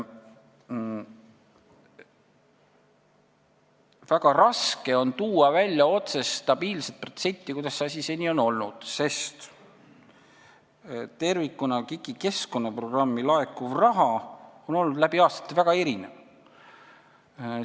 Väga raske on tuua välja stabiilset protsenti, kuidas see asi seni olnud on, sest KIK-i keskkonnaprogrammi tervikuna on läbi aastate väga erinevalt raha laekunud.